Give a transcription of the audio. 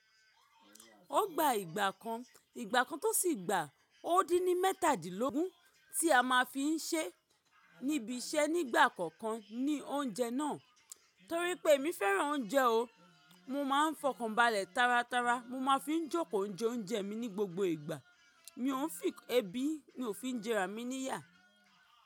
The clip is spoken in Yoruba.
Ó gba ìgbà kan, ìgbà kan tó sì gba ó dín ní mẹ́tàdílógún tí a má fi ń ṣẹ́ níbi iṣẹ́ nígbà kọ̀ọ̀kan ní oúnjẹ náà. Torí pé emi fẹ́ràn oúnjẹ o, mo má ń fọkànbalẹ̀ tárátárá, mo má fi ń jókòó n jẹ oúnjẹ mi ní gbogbo ìgbà. Mi ò ń fì ẹbí, mi ò fi ń jẹrà mí níyà.